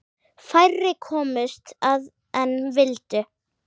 Færri komust að en vildu.